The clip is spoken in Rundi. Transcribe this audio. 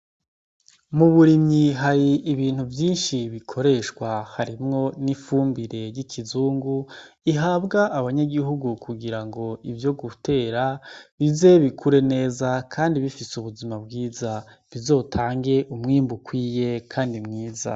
Mu burimyi hari ibintu vyinshi bikoreshwa, harimwo n’ifumbire ry’ikizungu ihabwa abanyagihugu kugira ngo ivyo gutera bize bikure neza kandi bifise ubuzima bwiza, bizotange umwimbu ukwiye kandi mwiza.